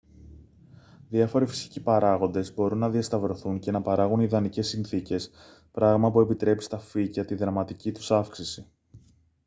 διάφοροι φυσικοί παράγοντες μπορούν να διασταυρωθούν και να παράγουν ιδανικές συνθήκες πράγμα που επιτρέπει στα φύκια τη δραματική τους αύξηση